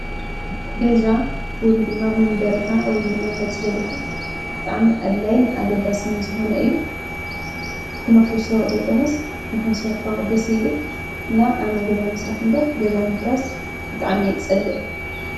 ገዛ ወይም ድማ መንበሪኻ ወይም ድማ መፅለሊኻ ብጣዕሚ ኣድላይን ኣገዳስን ዝኾነ እዩ ክነፍሩሶ ዘይኮነስ ንኾንሰርሖ ደስ ይብል እና ኣነ ገዛ ምስራሕ እምበር ገዛ ምፍራስ ብጣዕሚ እየ ዝፀልእ።